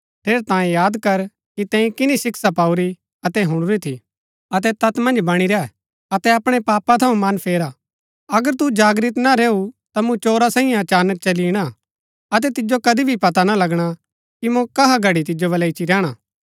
ठेरैतांये याद कर कि तैंई किनी शिक्षा पाऊरी अतै हुणुरी थी अतै तैत मन्ज बणी रैह अतै अपणै पापा थऊँ मन फेरा अगर तू जागृत ना रैऊ ता मूँ चोरा सांईये अचानक चली इणा अतै तिजो कदी भी पता ना लगणा कि मूँ कहा घड़ी तिजो वलै इच्ची रैहणा